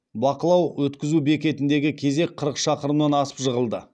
бақылау өткізу бекетіндегі кезек қырық шақырымнан асып жығылды